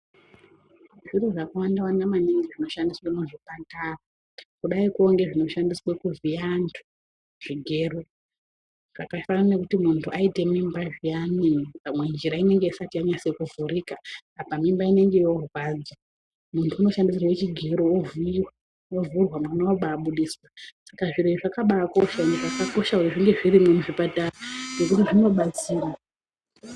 Zviro zvakawanda wanda maningi zvinoshandiswe muzvipatara, kudaiko ngezvinoshandiswe kuvhiya antu, zvigero zvakafanane nekuti munhu aite mimba zviyani pamwe njira inonga isati yanyato vhurika apa mimba inenge yoorwadza muntu unoshandisirwe chigero ovhiiwa wovhurwa mwana oba abudiswa. Saka zviro izvi zvakaba akokosha kuti zvinge zvirimwo muchipatara nekuti zvinobatsira.